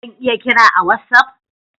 Zan lya kira ka a'wassap?